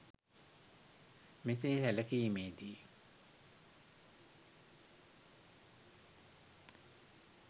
මෙසේ සැලකීමේ දී